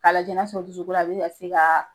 Ka lajɛ n'a sɔrɔ dusukolo a bi ka se ka